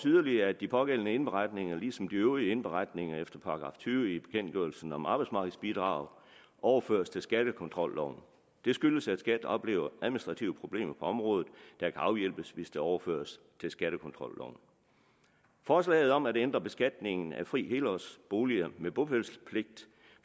yderligere at de pågældende indberetninger ligesom de øvrige indberetninger efter § tyve i bekendtgørelsen om arbejdsmarkedsbidrag overføres til skattekontrolloven det skyldes at skat oplever administrative problemer på området der kan afhjælpes hvis det overføres til skattekontrolloven forslaget om at ændre beskatningen af fri helårsbolig med bopælspligt